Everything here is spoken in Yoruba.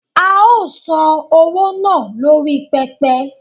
a o san owo naa lori pepe